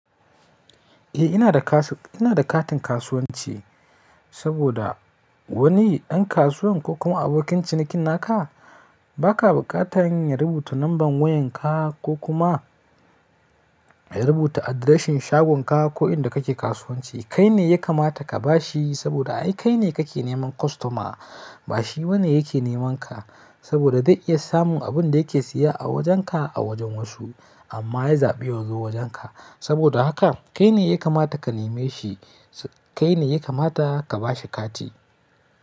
Eh ina da kasu-- ina da katin kasuwanci saboda wani ɗan kasuwa ko kuma abokin ciniki naka ba ka buƙatan ya rubuta lambar wayarka ko kuma ya rubuta adireshin shagunka ko inda kake kasuwanci. Kai ne ya kamata ka ba shi saboda ai kai ne kake neman kostoma ba shi wane yake nemanka saboda zai iya samun abin da yake siya a wajenka a wajen wasu amma ya zaɓi ya zo wajenka. Saboda haka kai ne ya kamata ka neme shi, kai ne ya kamata ka ba shi kati.